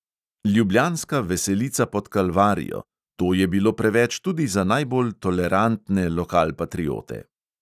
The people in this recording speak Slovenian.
Ljubljanska veselica pod kalvarijo, to je bilo preveč tudi za najbolj tolerantne lokalpatriote.